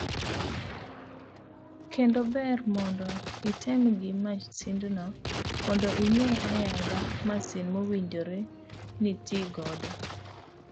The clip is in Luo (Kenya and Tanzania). Kendo ber mondo item gi masindno mondo ing'e ayanga masin mowinjore nitii godo.s